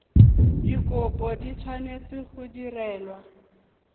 dikopo di tshwanetse go direlwa